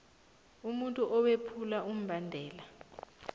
umuntu owephula umbandela